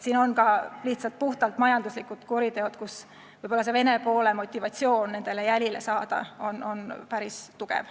Siin on ka lihtsalt puhtalt majanduslikud kuriteod ning Vene poole motivatsioon nendele jälile saada võib olla päris tugev.